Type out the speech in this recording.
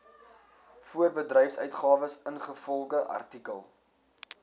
voorbedryfsuitgawes ingevolge artikel